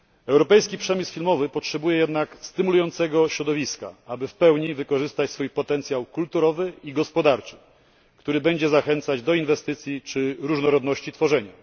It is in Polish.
Europejski przemysł filmowy potrzebuje jednak stymulującego środowiska, aby w pełni wykorzystać swój potencjał kulturowy i gospodarczy, który będzie zachęcać do inwestycji czy różnorodności tworzenia.